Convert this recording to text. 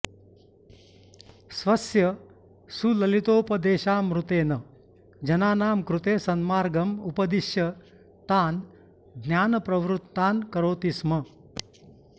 स्वस्य सुललितोपदेशामृतेन जनानां कृते सन्मार्गम् उपद्दिश्य तान् ज्ञानप्रवृत्तान् करोति स्म